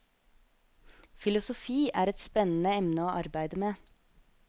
Filosofi er et spennende emne å arbeide med.